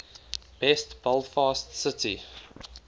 best belfast city